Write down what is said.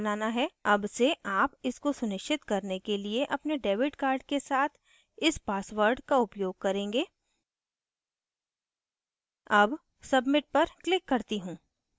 अब से आप इसको सुनिश्चित करने के लिए अपने debit card के साथ इस password का उपयोग करेंगे अब submit पर क्लिक करती हूँ